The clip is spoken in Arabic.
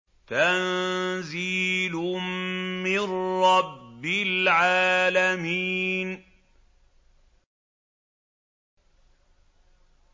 تَنزِيلٌ مِّن رَّبِّ الْعَالَمِينَ